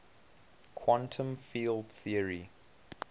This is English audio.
quantum field theory